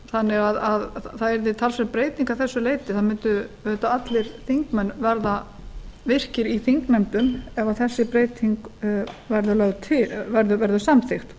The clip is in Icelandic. þannig að það yrði talsverð breyting að þessu leyti það mundu auðvitað allir þingmenn verða virkir í þingnefndum ef þessi breyting verður samþykkt